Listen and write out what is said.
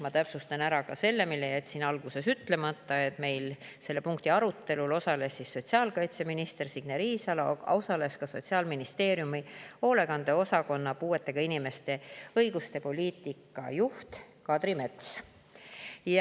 Ma täpsustan ära ka selle, mille jätsin alguses ütlemata: selle punkti arutelul osales sotsiaalkaitseminister Signe Riisalo, aga ka Sotsiaalministeeriumi hoolekande osakonna puudega inimeste õiguste poliitika juht Kadri Mets.